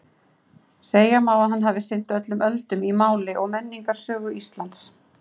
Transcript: Segja má að hann hafi sinnt öllum öldum í mál- og menningarsögu Íslands.